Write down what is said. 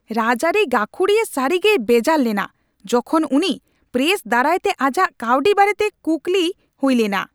ᱨᱟᱡᱽ ᱟᱹᱨᱤ ᱜᱟᱹᱠᱷᱩᱲᱤᱭᱟᱹ ᱥᱟᱹᱨᱤᱜᱮᱭ ᱵᱮᱡᱟᱨ ᱞᱮᱱᱟ ᱡᱚᱠᱷᱚᱱ ᱩᱱᱤ ᱯᱨᱮᱥ ᱫᱟᱨᱟᱭᱛᱮ ᱟᱡᱟᱜ ᱠᱟᱹᱣᱰᱤ ᱵᱟᱨᱮᱛᱮ ᱠᱩᱠᱞᱤ ᱦᱩᱭ ᱞᱮᱱᱟ ᱾